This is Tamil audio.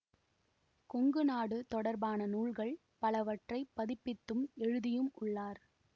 கொங்கு நாடு தொடர்பான நூல்கள் பலவற்றைப் பதிப்பித்தும் எழுதியும் உள்ளார்